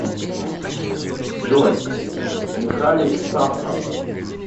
джой михалис сафрас